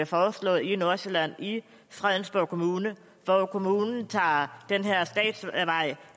foreslået i nordsjælland i fredensborg kommune hvor kommunen tager den her statsvej